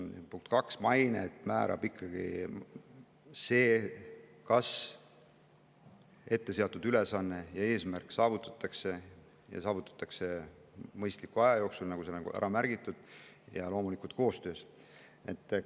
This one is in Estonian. Punkt kaks: maine määrab ikkagi see, kas etteantud ülesanne ja eesmärk saavutatakse ja saavutatakse mõistliku aja jooksul, nagu märgitud, ning loomulikult koostöös.